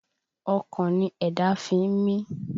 Ọkàn ni ẹ̀dá fi ń mi